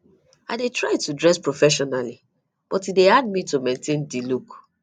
i dey try to dress professionally but e dey hard me maintain di look